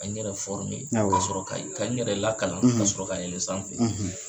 Ka n yɛrɛ ,awɔ, ka n yɛrɛ lakalan, , ka sɔrɔ ka yɛlɛn sanfɛ,